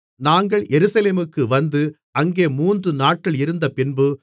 நாங்கள் எருசலேமுக்கு வந்து அங்கே மூன்றுநாட்கள் இருந்தபின்பு